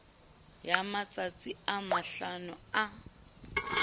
ya matsatsi a mahlano a